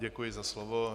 Děkuji za slovo.